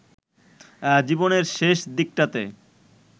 জীবনের শেষ দিকটাতে